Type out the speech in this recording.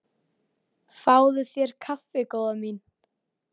Fáðu þér kaffi góða mín.